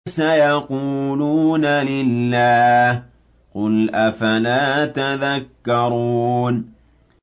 سَيَقُولُونَ لِلَّهِ ۚ قُلْ أَفَلَا تَذَكَّرُونَ